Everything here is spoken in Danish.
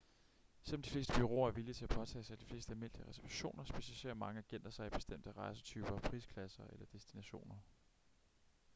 selvom de fleste bureauer er villige til at påtage sig de fleste almindelige reservationer specialiserer mange agenter sig i bestemte rejsetyper prisklasser eller destinationer